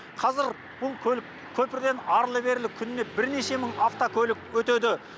қазір бұл көлік көпірден арлы берлі күніне бірнеше мың автокөлік өтеді